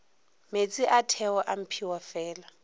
meetse a theo a mphiwafela